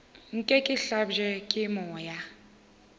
nke ke hlabje ke moya